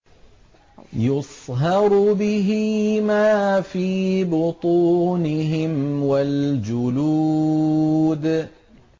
يُصْهَرُ بِهِ مَا فِي بُطُونِهِمْ وَالْجُلُودُ